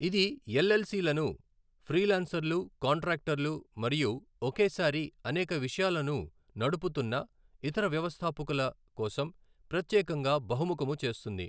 ఇది ఎల్ఎల్సి లను ఫ్రీలాన్సర్లు, కాంట్రాక్టర్లు మరియు ఒకేసారి అనేక విషయాలను నుడుపుతున్న ఇతర వ్యవస్థాపకుల కోసం ప్రత్యేకంగా బహుముఖము చేస్తుంది.